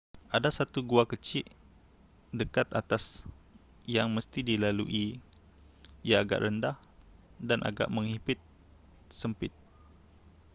ada satu gua kecik dekat atas yang mesti dilalui ia agak rendah dan agak menghimpit sempit